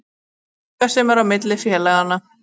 Það er eitthvað sem er á milli félaganna.